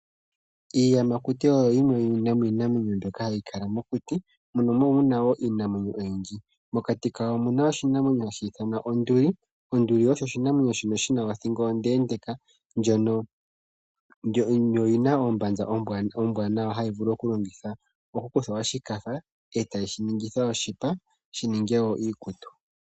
Iiyamakuti oyo yimwe yomiinamwenyo mbyono hayi kala mokuti, mono mu na wo iinamwenyo oyindji. Mokati kayo omu na oshinamwenyo hashi ithanwa onduli. Onduli oyo oshinamwenyo shi na othingo ondeendeka, yo oyi na ombanza ombwaanawa hayi vulu okulongithwa; okukuthwa oshikatha e tashi ningithwa oshipa shi ninge wo iikutu.